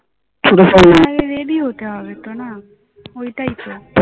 আরে ready হতে হবে তো না ওইটাই তো